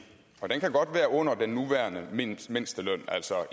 og den kan godt være under den nuværende mindsteløn altså